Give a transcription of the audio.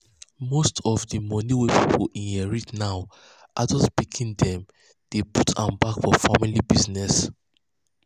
most of of the money wey pipo inherit now adult pikin dem dey put am back for family business.